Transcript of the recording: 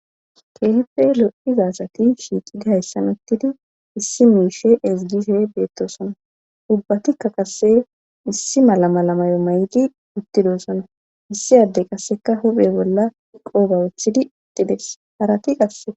keehippe lo7ida asati shiiqidi hayssan uttidi issi miishe ezgishe beettoosona;ubatikka qassi issi mala mala mayo mayidi uttidosona;issi adey qassika huuphe bolla qooba wottidi eqqides harati qasse.